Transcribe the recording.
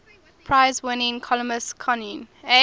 prize winning columnist connie